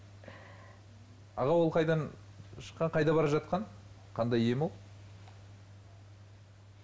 аға ол қайдан шыққан қайда бара жатқан қандай ем ол